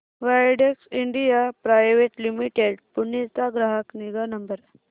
Widex India private limited Pune चा ग्राहक निगा नंबर